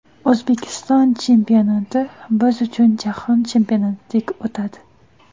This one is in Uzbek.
O‘zbekiston chempionati biz uchun Jahon chempionatidek o‘tadi.